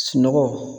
Sunɔgɔ